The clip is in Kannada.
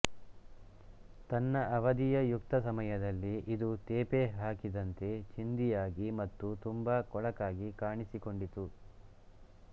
ತನ್ನ ಅವಧಿಯ ಯುಕ್ತ ಸಮಯದಲ್ಲಿ ಇದು ತೇಪೆ ಹಾಕಿದಂತೆ ಚಿಂದಿಯಾಗಿ ಮತ್ತು ತುಂಬಾ ಕೊಳಕಾಗಿ ಕಾಣಿಸಿಕೊಂಡಿತು